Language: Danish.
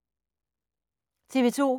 TV 2